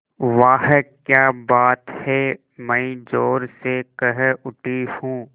वाह क्या बात है मैं ज़ोर से कह उठती हूँ